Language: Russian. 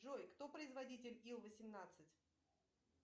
джой кто производитель ил восемнадцать